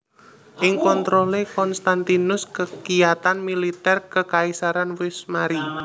Ing kontrolé Konstantinus kekiyatan militer kekaisaran wus mari